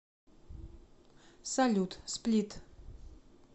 салют сплит